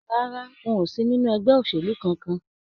Rárá, n ó sì nínú ẹgbẹ́ òṣèlú kánkán.